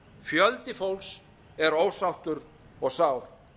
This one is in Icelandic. fjöldi fólks er ósáttur og sár